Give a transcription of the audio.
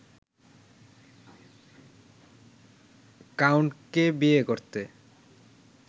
কাউন্টকে বিয়ে করতে